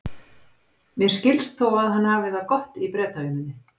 Mér skilst þó að hann hafi það gott í Bretavinnunni.